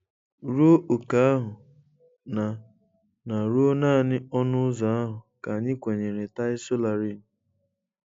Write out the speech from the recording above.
Ruo ókè ahụ — na na ruo naanị ọnụ ụzọ ahụ ka anyị kwenyere Tai Solarin.